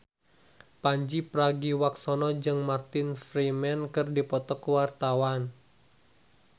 Pandji Pragiwaksono jeung Martin Freeman keur dipoto ku wartawan